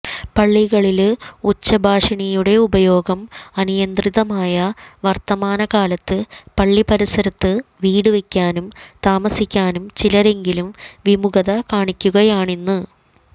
പള്ളികളില് ഉച്ചഭാഷിണിയുടെ ഉപയോഗം അനിയന്ത്രിതമായ വര്ത്തമാനകാലത്ത് പള്ളിപരിസരത്ത് വീടുവെക്കാനും താമസിക്കാനും ചിലരെങ്കിലും വിമുഖത കാണിക്കുകയാണിന്ന്